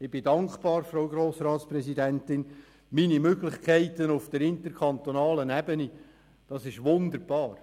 Ich bin dankbar, Frau Grossratspräsidentin, denn meine Möglichkeiten auf der interkantonalen Ebene sind wunderbar.